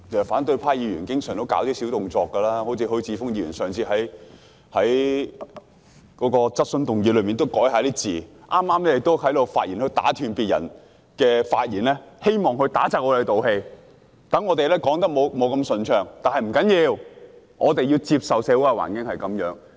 反對派議員經常都會做一些小動作，例如許智峯議員在上次會議提出口頭質詢時，改動了主體質詢的字眼，剛才又打斷別人發言，希望令我們不能一氣呵成，發言不順暢，但不要緊，我們要接受社會的環境就是這樣。